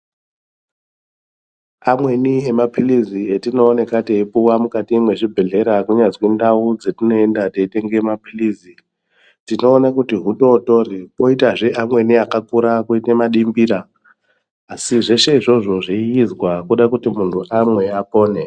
Amweni emapilizi atinooneka teipuwa mukati mezvibhedhlera kunyazwi ndau dzatinoenda teitenga mapilizi tinoona kuti hutotori kwoitazve amweni akakura kwoita madimbira asi zveshe izvozvo zveiitwa kuda kuti muntu amwe apone.